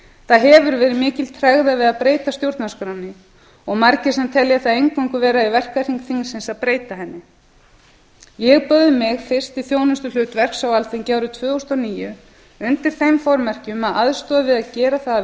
það hefur verið mikil tregða við að breyta stjórnarskránni og margir sem telja það eingöngu vera í verkahring þingsins að breyta henni ég bauð mig fyrst til þjónustuhlutverks á alþingi árið tvö þúsund og níu undir þeim formerkjum að aðstoð við að gera það að